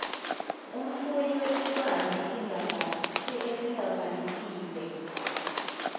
umfuyi wesilwane esingabhalisiwe